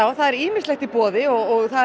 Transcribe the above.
það er ýmislegt í boði og